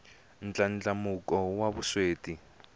ndlandlamuko wa vusweti